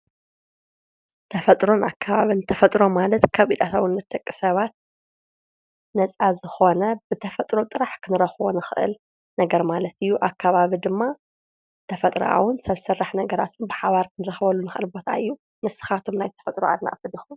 ተፈጥሮን ኣካባብን ተፈጥሮ ማለት ካብ ኢድ ኣታውነት ደቂ ሰባት ነፃ ዝኾነ ብተፈጥሮ ጥራሕ ኽንረኽቦ ንኽእል ነገር ማለት እዩ። ኣካባብ ድማ ተፈጥራዊን ሰብ ስራሕ ነገራትን ብሓባር ክንረኽበሉ ንክእል ቦታ እዩ ንስኩም ናይ ተፈጥሮ ኣድነቅቲ ዲኩም።